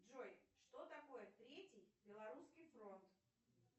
джой что такое третий белорусский фронт